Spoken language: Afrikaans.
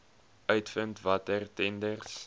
uitvind watter tenders